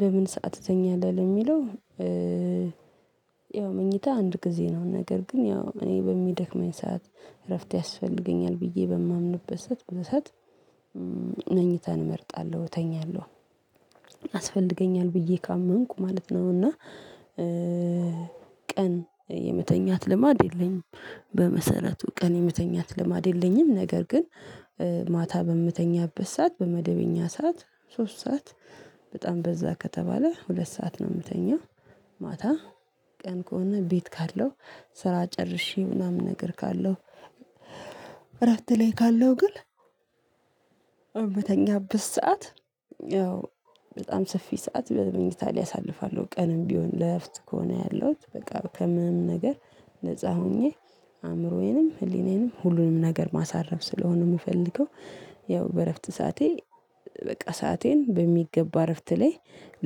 በምን ሰዓት ትተኛለህ? ለሚለው ያው መኝታ አንድ ጊዜ ነው፣ ነገር ግን ያው እኔ በሚደክመኝ ሰዓት እረፍት ያስፈልገኛል ብዬ በማምንበት ሰዓት፣ በዛ ሰዓት መኝታን እመርጣለሁ፣ እተኛለሁ። ያስፈልገኛል ብዬ ካመንኩ ማለት ነው፣ እና ቀን የምተኛት ልማድ የለኝም። በመሰረቱ ቀን የምተኛት ልማድ የለኝም። ነገር ግን ማታ በምተኛበት ሰዓት፣ በመደበኛ ሰዓት፣ ሶስት ሰዓት በጣም በዛ ከተባለ ሁለት ሰዓት ነው የምተኛው። ማታ ቀን ከሆነ ቤት ካለው ስራ ጨርሼ ምናምን ነገር ካለው፣ እረፍት ላይ ካለው ግን እምተኛበት ሰዓት ያው በጣም ሰፊ ሰዓት በመኝታ ላይ አሳልፋለሁ ቀንም ቢሆን ለእረፍት ከሆነ ያለሁት፣ በቃ ከምንም ነገር ነፃ ሆኜ አእምሮዬንም፣ ህሊናየንም፣ ሁሉንም ነገር ማሳረፍ ስለሆነ የምፈልገው፣ ያው በእረፍት ሰዓቴ በቃ ሰአቴን በሚገባ እረፍት ላይ